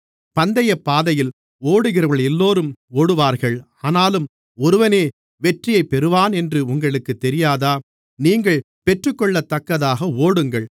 பந்தயப் பாதையில் ஓடுகிறவர்களெல்லோரும் ஓடுவார்கள் ஆனாலும் ஒருவனே வெற்றியை பெறுவானென்று உங்களுக்குத் தெரியாதா நீங்கள் பெற்றுக்கொள்ளத்தக்கதாக ஓடுங்கள்